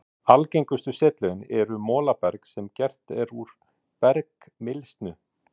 Algengustu setlögin eru molaberg sem gert er úr bergmylsnu.